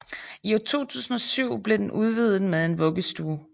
I 2007 blev den udvidet med en vuggestue